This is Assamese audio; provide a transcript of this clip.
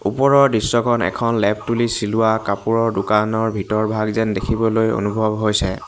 ওপৰৰ দৃশ্যখন এখন লেপ-তুলি চিলোৱা কাপোৰৰ দোকানৰ ভিতৰভাগ যেন দেখিবলৈ অনুভৱ হৈছে।